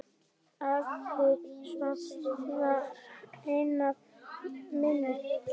Afa sem var vinur minn.